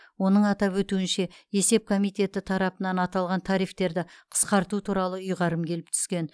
оның атап өтуінше есеп комитеті тарапынан аталған тарифтерді қысқарту туралы ұйғарым келіп түскен